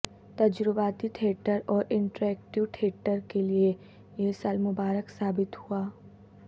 تجرباتی تھیٹر اور interactive theatre کےلیے یہ سال مبارک ثابت ہوا